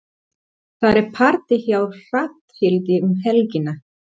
Það er partí hjá Hrafnhildi um helgina.